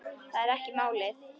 Það er ekki málið.